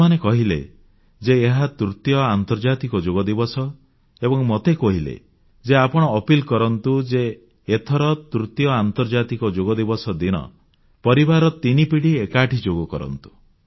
ସେମାନେ କହିଲେ ଯେ ଏହା ତୃତୀୟ ଆନ୍ତର୍ଜାତିକ ଯୋଗ ଦିବସ ଏବଂ ମୋତେ କହିଲେ ଯେ ଆପଣ ଅପିଲନିବେଦନ କରନ୍ତୁ ଯେ ଏଥର ତୃତୀୟ ଆନ୍ତର୍ଜାତିକ ଯୋଗ ଦିବସ ଦିନ ପରିବାରର ତିନି ପିଢ଼ି ଏକାଠି ଯୋଗ କରନ୍ତୁ